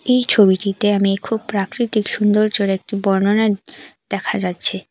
এই ছবিটিতে আমি খুব প্রাকৃতিক সুন্দরর্যর একটি বর্ণনা দেখা যাচ্ছে।